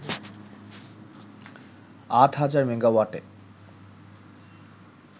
আট হাজার মেগাওয়াটে